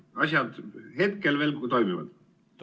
Asjad hetkel veel toimivad.